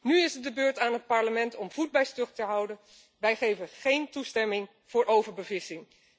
Nu is het de beurt aan het Parlement om voet bij stuk te houden. Wij geven geen toestemming voor overbevissing.